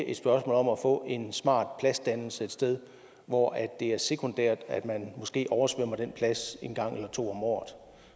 et spørgsmål om at få en smart pladsdannelse et sted hvor det er sekundært at man måske oversvømmer den her plads en gang eller to om året